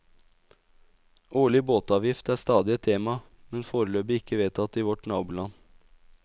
Årlig båtavgift er stadig et tema, men foreløpig ikke vedtatt i vårt naboland.